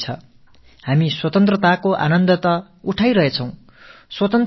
நாம் சுதந்திர இந்தியாவின் சுகமான காற்றை அனுபவித்துக் கொண்டிருக்கிறோம்